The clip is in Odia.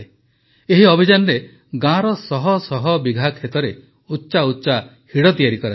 ଏହି ଅଭିଯାନରେ ଗାଁର ଶହଶହ ବିଘା ଖେତରେ ଉଚ୍ଚା ଉଚ୍ଚା ହିଡ଼ ତିଆରି କରାଯାଇଛି